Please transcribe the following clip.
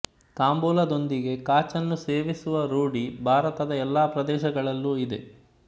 ತಾಂಬೂಲದೊಂದಿಗೆ ಕಾಚನ್ನು ಸೇವಿಸುವ ರೂಢಿ ಭಾರತದ ಎಲ್ಲ ಪ್ರದೇಶಗಳಲ್ಲೂ ಇದೆ